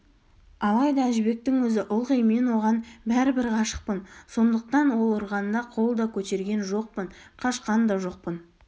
алайда әжібектің өзі ылғи мен оған бәрібір ғашықпын сондықтан ол ұрғанда қол да көтерген жоқпын қашқан да жоқпын